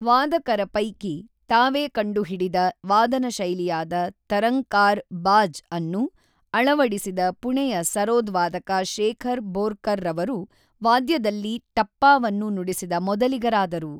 ವಾದಕರ ಪೈಕಿ, ತಾವೇ ಕಂಡುಹಿಡಿದ ವಾದನ ಶೈಲಿಯಾದ ತರಂಕಾರ್ ಬಾಜ್ಅನ್ನು ಅಳವಡಿಸಿದ ಪುಣೆಯ ಸರೋದ್ ವಾದಕ ಶೇಖರ್ ಬೋರ್ಕರ್‌ರವರು ವಾದ್ಯದಲ್ಲಿ ಟಪ್ಪಾವನ್ನು ನುಡಿಸಿದ ಮೊದಲಿಗರಾದರು.